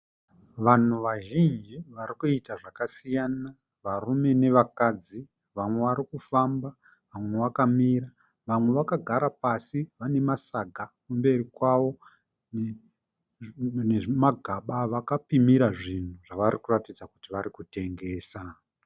Vanhu vazhinji varikuita zvakasiyana, varume nevakadzi. Vamwe varikufamba, vamwe vakamira vamwe vakagara pasi vane masaga mberi kwavo, nemagamba avakapimira zvinhu zvavakuratidza kuti varikutengesa.